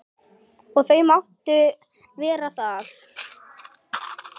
Og þau máttu vera það.